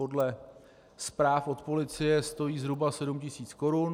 Podle zpráv od policie stojí zhruba 7 tisíc korun.